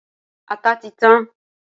Ata ti tan.